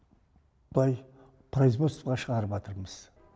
былай производствоға шығарыватырмыз